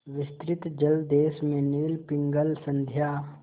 विस्तृत जलदेश में नील पिंगल संध्या